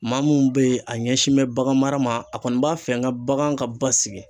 Maa mun be yen a ɲɛsin bɛ bagan mara ma a kɔni b'a fɛ n ka bagan ka basigi